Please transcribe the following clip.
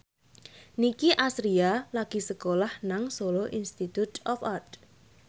Nicky Astria lagi sekolah nang Solo Institute of Art